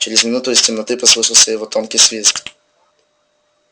через минуту из темноты послышался его тонкий свист